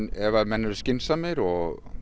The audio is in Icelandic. ef menn eru skynsamir og